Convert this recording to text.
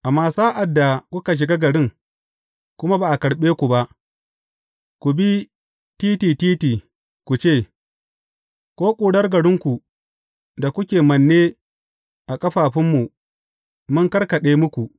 Amma sa’ad da kuka shiga garin, kuma ba a karɓe ku ba, ku bi titi titi ku ce, Ko ƙurar garinku da kuke manne a ƙafafunmu, mun karkaɗe muku.